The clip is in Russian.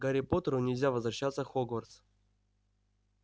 гарри поттеру нельзя возвращаться в хогвартс